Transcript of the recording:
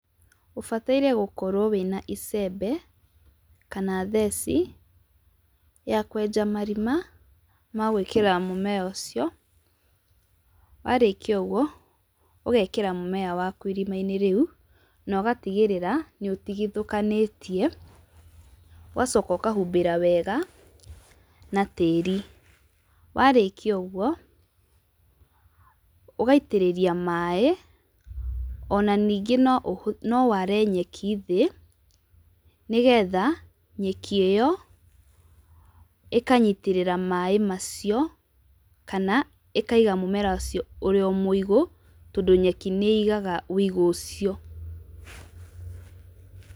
Ũbataire gũkorwo wĩna icembe, kana theci, ya kwenja marima, ma gwĩkĩra mũmera ũcio, warĩkia ũguo, ũgekĩra mũmera waku irimainĩ rĩũ, na ũgatigĩrĩra, nĩũtigithũkanĩtie, ũgacoka ũkahumbĩra wega, na tĩri. Warĩkia ũguo, ũgaitĩrĩria maĩ, ona ningĩ no ware nyeki thĩ, nĩgetha, nyeki ĩyo, ĩkanyitĩrĩra maĩ macio, kana ĩkaiga mũmera ũcio ũrĩ o mũigũ, tondũ nyeki nĩ igaga wĩigũ ũcio.